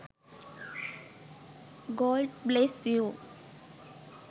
god bless you